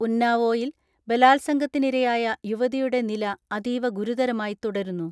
ഉന്നാവോയിൽ ബലാത്സംഗത്തിനിരയായ യുവതിയുടെ നില അതീവ ഗുരുതരമായി തുടരുന്നു.